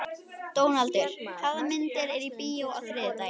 Dónaldur, hvaða myndir eru í bíó á þriðjudaginn?